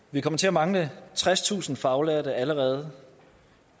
vi kommer til at mangle tredstusind faglærte allerede